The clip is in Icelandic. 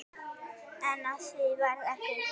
En af því varð ekki.